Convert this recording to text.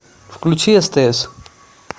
включи стс